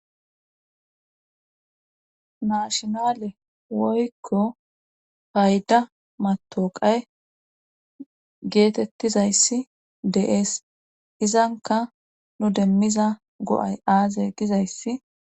Naashinale woykko hayda matoqay geetettizayssi deees izanka nu demmiza go7ay aaze gizayssa